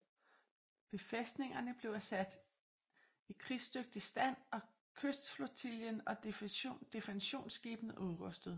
Befæstningerne blev satte i krigsdygtig stand og kystflotillen og defensionsskibene udrustede